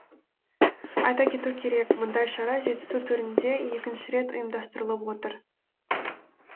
айта кету керек мұндай шара жетісу төрінде екінші рет ұйымдастырылып отыр